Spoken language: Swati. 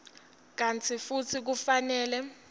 kantsi futsi kufanele